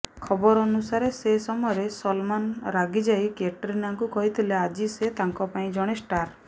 ଖବର ଅନୁସାରେ ସେ ସମୟରେ ସଲମାନ୍ ରାଗିଯାଇ କ୍ୟାଟ୍ରିନାଙ୍କୁ କହିଥିଲେ ଆଜି ସେ ତାଙ୍କ ପାଇଁ ଜଣେ ଷ୍ଟାର